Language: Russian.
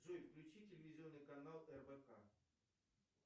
джой включи телевизионный канал рбк